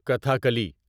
Kathakali